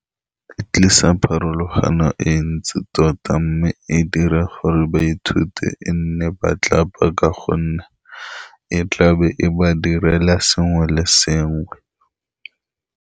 E tlisa pharologano e ntsi tota, mme e dira gore ba ithute e nne ba tlapa, ka gonne e tlabe e ba direla sengwe le sengwe.